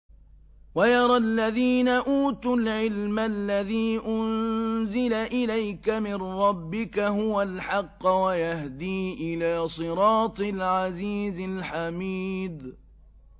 وَيَرَى الَّذِينَ أُوتُوا الْعِلْمَ الَّذِي أُنزِلَ إِلَيْكَ مِن رَّبِّكَ هُوَ الْحَقَّ وَيَهْدِي إِلَىٰ صِرَاطِ الْعَزِيزِ الْحَمِيدِ